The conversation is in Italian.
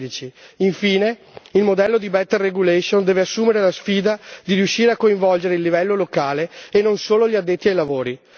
2016. Infine, il modello di better regulation deve assumere la sfida di riuscire a coinvolgere il livello locale, e non solo gli addetti ai lavori.